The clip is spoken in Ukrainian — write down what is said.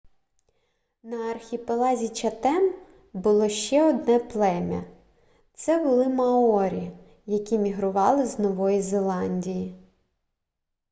на архіпелазі чатем було ще одне плем'я це були маорі які мігрували з нової зеландії